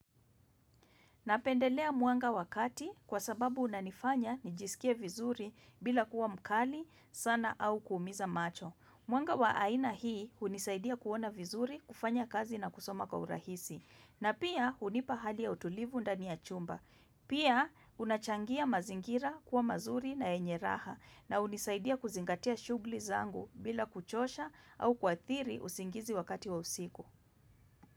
Napendelea mwanga wakati kwa sababu unanifanya nijisikie vizuri bila kuwa mkali, sana au kuumiza macho. Mwanga wa aina hii hunisaidia kuona vizuri, kufanya kazi na kusoma kwa urahisi. Na pia hunipa hali ya utulivu ndani ya chumba. Pia unachangia mazingira kuwa mazuri na yenye raha. Na unisaidia kuzingatia shugli zangu bila kuchosha au kuathiri usingizi wakati wa usiku.